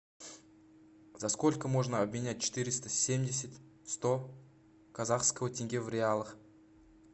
за сколько можно обменять четыреста семьдесят сто казахского тенге в реалах